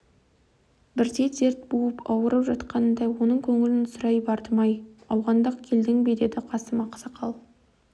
бірде дерт буып ауырып жатқанында оның көңілін сұрай бардым әй ауғандық келдің бе деді қасым ақсақал